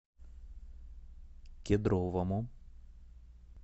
кедровому